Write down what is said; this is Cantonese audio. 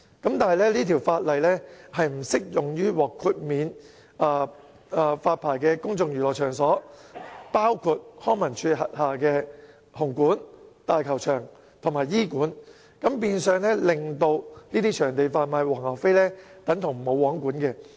但是，該條例不適用於獲豁免發牌的公眾娛樂場所，包括康文署轄下的紅磡香港體育館、香港大球場和伊利沙伯體育館，變相在這些場地外販賣"黃牛飛"的情況等同"無皇管"。